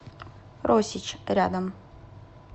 росич рядом